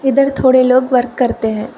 इधर थोड़े लोग वर्क करते हैं।